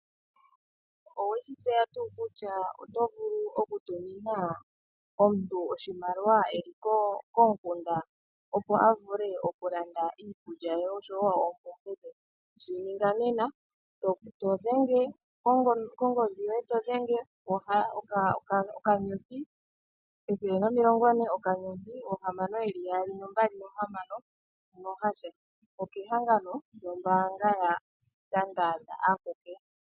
Oweshi tseya tuu kutya oto vulu oku tumina omuntu iimaliwa eli komukunda, opo a vule oku landa iikulya oshowo oompumbwe dhe? Shi ninga nena todhenge kongodhi yoye oka *140*6626#, okehangano yaStandard aku ke.